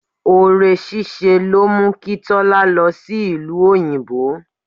Ore ṣíṣe ló mú kí Tọ́lá lọ sí ìlú òyìnbó.